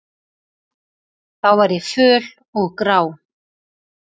Þá var ég föl og grá.